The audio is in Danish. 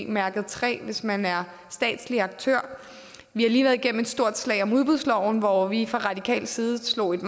mærket træ hvis man er statslig aktør vi har lige været igennem et stort slag om udbudsloven hvor vi fra radikal side slog et